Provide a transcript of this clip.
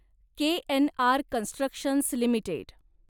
KNR constructions limited